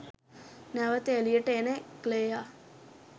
නැවත එලියට එන ක්ලෙයා